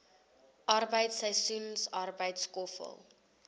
arbeid seisoensarbeid skoffel